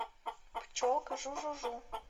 пчелка жу жу жу